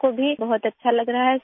بہت اچھا لگ رہا ہے سر